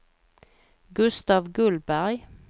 Gustaf Gullberg